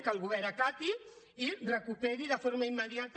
que el govern acati i recuperi de forma immediata